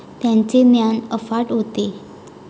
त्याचे ज्ञान अफाट होते.